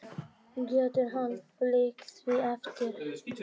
Getur hann fylgt því eftir?